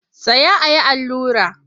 Tsaya a yi allura!